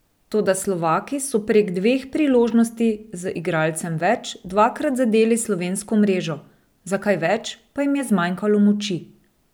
Toda Slovaki so prek dveh priložnosti z igralcem več dvakrat zadeli slovensko mrežo, za kaj več pa jim je zmanjkalo moči.